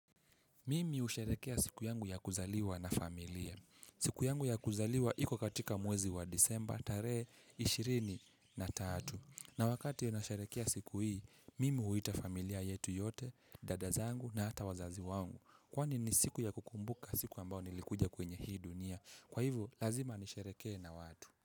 Mimi husheherekea siku yangu ya kuzaliwa na familia. Siku yangu ya kuzaliwa iko katika mwezi wa disemba tarehe 23. Na wakati nasherehekea siku hii, mimi huita familia yetu yote, dada zangu na hata wazazi wangu. Kwani ni siku ya kukumbuka siku ambayo nilikuja kwenye hii dunia. Kwa hivyo, lazima nisherehekee na watu.